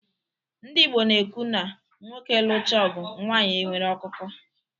Ndị Igbo na-ekwu na "nwoke lụchaa ọgụ, nwanyị e nwere akụkọ"